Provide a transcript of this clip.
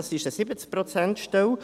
Es ist eine 70-Prozent-Stelle.